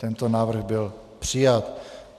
Tento návrh byl přijat.